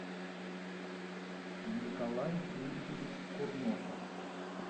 николай юрьевич курносов